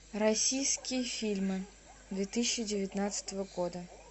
российские фильмы две тысячи девятнадцатого года